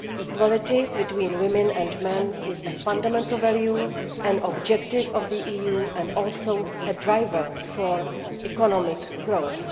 Equality between women and men is a fundamental value, an objective of the European Union and also a driver for economic growth.